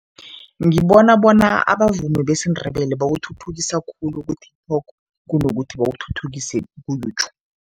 Ngibona bona abavumi besiNdebele bawuthuthukisa khulu ku-TikTok kunokuthi bawuthuthukise ku-YouTube.